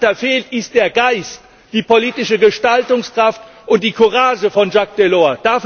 Was dahinter fehlt, sind der Geist, die politische Gestaltungskraft und die Courage von Jaques Delors.